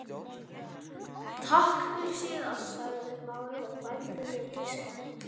Takk fyrir síðast sagði Smári og bældi niður geispa.